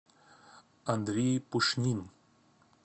андрей пушнин